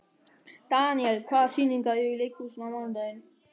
Daniel, hvaða sýningar eru í leikhúsinu á mánudaginn?